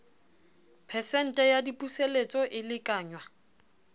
phesente ya dipuseletso e lekanngwa